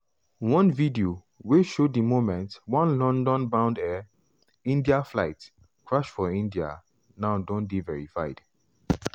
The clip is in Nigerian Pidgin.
one video wey show di moment one london-bound air india flight crash for india now don dey verified.